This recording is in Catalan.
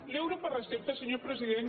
l’euro per recepta senyor president